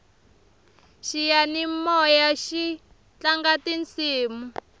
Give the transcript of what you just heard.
xiyanimoyaxi tlanga tisimu